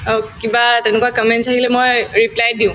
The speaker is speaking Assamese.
অ, কিবা তেনেকুৱা comments আহিলে মই reply য়ে দিও